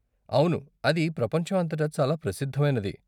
అవును అది ప్రపంచం అంతటా చాలా ప్రసిద్ధమైనది.